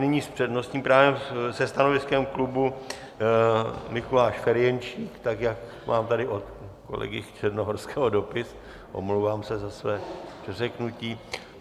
Nyní s přednostním právem se stanoviskem klubu Mikuláš Ferjenčík, tak jak mám tady od kolegy Černohorského dopis, omlouvám se za své přeřeknutí.